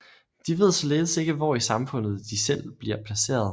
De ved således ikke hvor i samfundet de selv bliver placeret